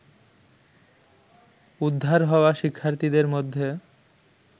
উদ্ধার হওয়া শিক্ষার্থীদের মধ্যে